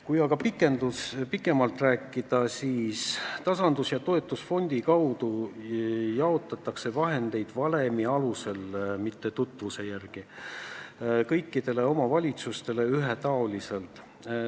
Kui veidi pikemalt rääkida, siis tasandusfondi kaudu jaotatakse vahendeid mitte tutvuse järgi, vaid valemi alusel kõikidele omavalitsustele ühetaoliselt.